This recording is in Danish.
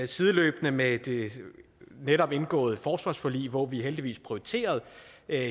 sideløbende med det netop indgåede forsvarsforlig hvor vi heldigvis prioriterede